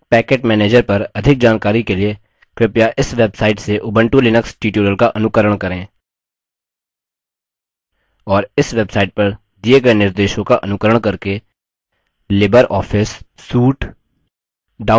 synaptic package manager पर अधिक जानकारी के लिए कृपया इस website से उबंटु लिनक्स tutorials का अनुकरण करें और इस website पर दिये गए निर्देशों का अनुकरण करके लिबर ऑफिस suite download करें